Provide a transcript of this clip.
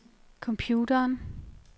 computeren